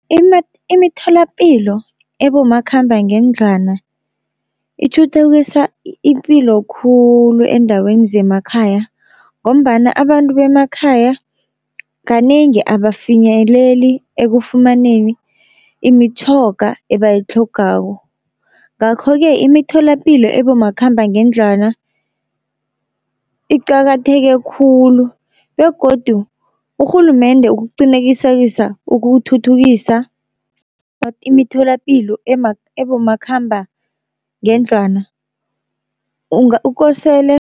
Imitholapilo ebomakhambangendlwana itjhuthukisa ipilo khulu eendaweni zemakhaya, ngombana abantu bemakhaya kanengi abafinyeleli ekufumaneni imitjhoga ebayitlhogako. Ngakho-ke imitholapilo ebomakhambangendlwana iqakatheke khulu, begodu urhulumende ukuqinekisekisa ukuthuthukisa imitholapilo ebomakhambangendlwana kosele